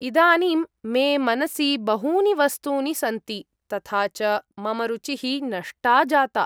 इदानीं मे मनसि बहूनि वस्तूनि सन्ति, तथा च मम रुचिः नष्टा जाता।